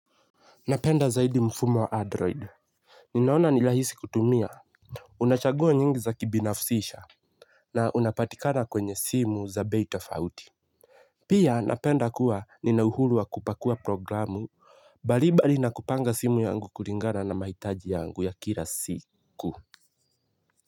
Napenda zaidi mfumo wa android. Ninaona ni rahisi kutumia. Unachagua nyingi za kibinafsisha. Na unapatikana kwenye simu za bei tofauti. Pia napenda kuwa ninauhuru wa kupakua programu. Bali bali na kupanga simu yangu kulingana na mahitaji yangu ya kila siku.